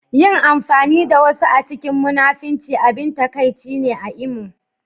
Yin amfani da wasu a cikin munafunci abin takaici ne a Imo